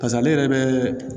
Pas'ale yɛrɛ bɛ